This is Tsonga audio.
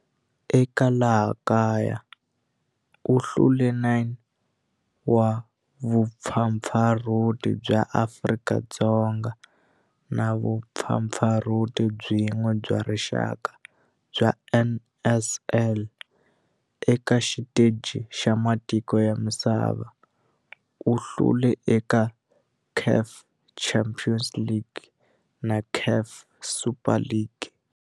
Eka laha kaya u hlule 9 wa vumpfampfarhuti bya Afrika-Dzonga na vumpfampfarhuti byin'we bya rixaka bya NSL. Eka xiteji xa matiko ya misava, u hlule eka CAF Champions League na CAF Super Cup.